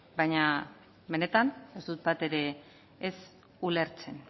baina benetan ez dut bat ere ez ulertzen